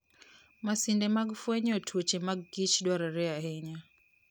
Masinde mag fwenyo tuoche mag kich dwarore ahinya.